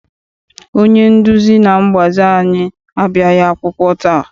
Onye nduzi na mgbazi anyị abịaghị akwụkwọ taa.